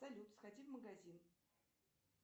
салют сходи в магазин